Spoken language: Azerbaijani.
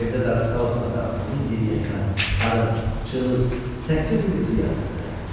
Evdə darısqal otaqda onun yeniyetmə, arıq, cılız, təkcə bir qızı yataqda yatırdı.